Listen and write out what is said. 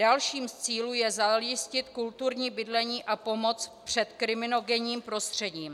Dalším z cílů je zajistit kulturní bydlení a pomoc před kriminogenním prostředím.